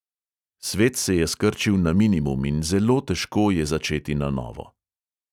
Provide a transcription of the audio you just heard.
Svet se je skrčil na minimum in zelo težko je začeti na novo.